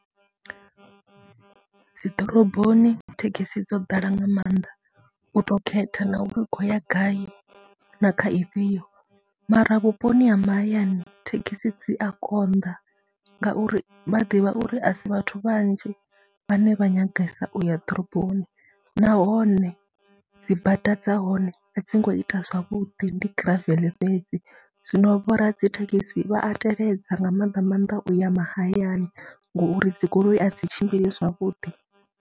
Dzi ḓoroboni thekhisi dzo ḓala nga maanḓa u tou khetha na uri u khou ya gai na kha ifhio mara vhuponi ha mahayani thekhisi dzi a konḓa ngauri vha ḓivha uri a si vhathu vhanzhi vhane vha nyagesa u ya ḓiroboni nahone dzi bada dza hone a dzi ngo ita zwavhuḓi, ndi giraveḽe fhedzi. Zwino vho radzithekhisi vha a teledza nga mannḓa maanḓa u ya mahayani ngori dzi goloi dzi tshimbili zwavhuḓi.